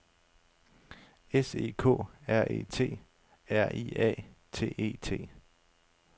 S E K R E T A R I A T E T